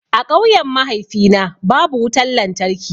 A ƙauyen mahaifina babu wutan lantarki.